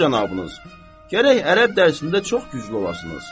Axund cənabınız, gərək ərəb dərsində çox güclü olasınız.